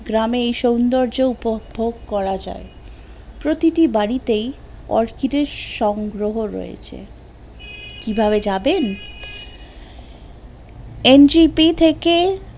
গ্রামে সৌন্দর্য উপভোগ করা যায় প্রতিটি বাড়িতে অর্কিটের সংগ্রহ রয়েছে কিভাবে যাবেন? NGP থেকে